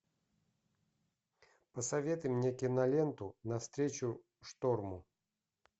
посоветуй мне киноленту навстречу шторму